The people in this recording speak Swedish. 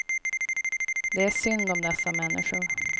Det är synd om dessa människor.